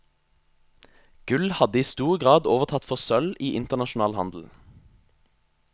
Gull hadde i stor grad overtatt for sølv i internasjonal handel.